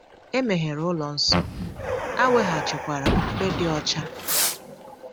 E meghere ụlọ nsọ, a weghachikwara ofufe dị ọcha.